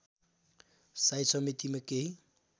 साई समितिमा केही